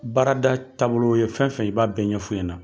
Baarada taabolo ye fɛn fɛn ye i b'a bɛɛ ɲɛ fɔ ɲɛnɛ.